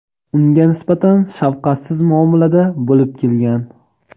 unga nisbatan shafqatsiz muomalada bo‘lib kelgan.